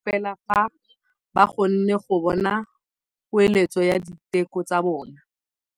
Borra saense ba dumela fela fa ba kgonne go bona poeletsô ya diteko tsa bone.